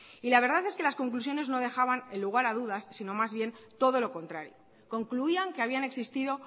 y la verdad es que las conclusiones no dejaban lugar a dudas sino más bien todo lo contrario concluían que habían existido